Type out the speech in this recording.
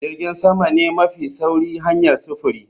Jirgin sama ne mafi sauri hanyar sufuri